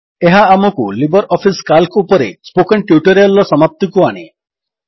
ଏହା ଆମକୁ LibreOffice Calc ଉପରେ ସ୍ପୋକନ୍ ଟ୍ୟୁଟୋରିଆଲ୍ ର ସମାପ୍ତିକୁ ଆଣେ